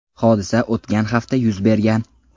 Hodisa o‘tgan hafta yuz bergan.